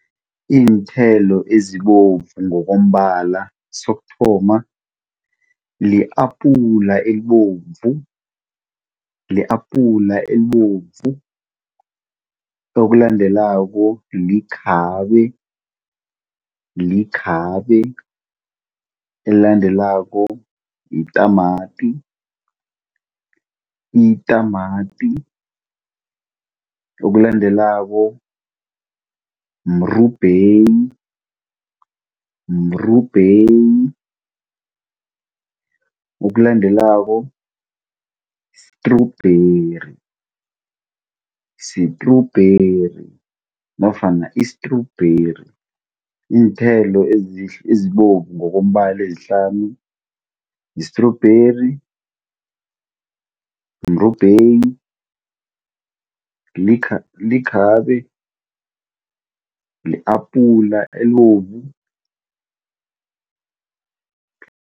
Iinthelo ezibovu ngokombala, sokuthoma li-apula elibovu. Li-apula elibovu, okulandelako likhabe. Likhabe, elilandelako yitamati, Itamati okulandelako mrubheyi, mrubheyi. Okulandelako strubheri, sitrubheri nofana istrubheri. Iinthelo ezibovu ezilandelako ezihlanu yistrubheri, mrubheyi, likhabe, li-apula elibovu.